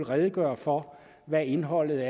redegøre for hvad indholdet